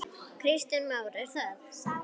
Kristján Már: Er það?